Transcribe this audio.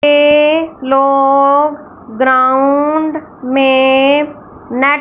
ये लोग ग्राउंड में नेट --